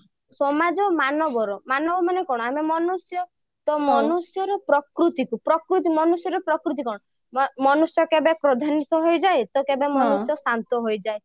ସମାଜ ମାନବର ମାନବ ମାନେ କଣ ଆମେ ମନୁଷ୍ୟ ତ ମନୁଷ୍ୟର ପ୍ରକୃତିକୁ ମନୁଷ୍ୟର ପ୍ରକୃତି କଣ ମନୁଷ୍ୟ କେବେ କ୍ରୋଧାନିତ ହେଇଯାଏ କେବେ ଶାନ୍ତ ହେଇଯାଏ